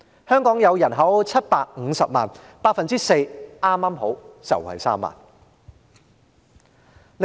香港人口是750萬人 ，4% 剛剛好便是3萬人。